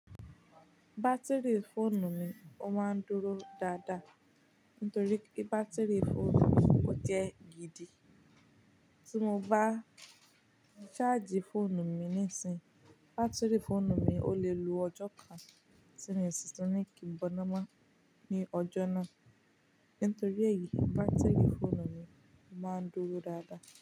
Batiri fóònù mi ó máa ń dúró dáadáa nitorí pé bátírì fóònù mi ó jẹ́ gidi. Tí mo bá charge fóònù mi nísìnyí, bátírì fóònù mi ó lè lo ọjọ́ kan ti mi o sí tun ni kíi bọ́námọ́ ní ọjọ́ náà. Nítorí èyí, bátírì fóònù mi ó máa ń dúró dáadáa.